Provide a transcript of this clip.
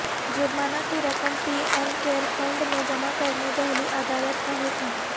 جرمانہ کی رقم پی ایم کیئر فنڈ میں جمع کرنے دہلی عدالت کا حکم